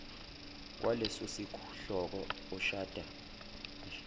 kwalesosihloko oshoda ngesikhala